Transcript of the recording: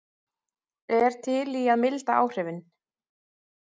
Er til í að milda áhrifin